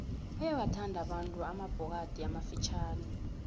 bayawathanda abantu amabhokadi amafitjhani